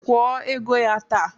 Kwuo ego ya taa!